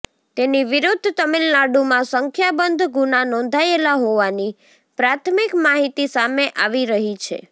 તેની વિરુદ્ધ તમિલનાડુમાં સંખ્યાબંધ ગુના નોંધાયેલા હોવાની પ્રાથમિક માહિતી સામે આવી રહી છે